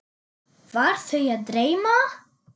Var þau að dreyma?